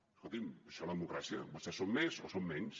bé escolti’m això és la democràcia vostès són més o són menys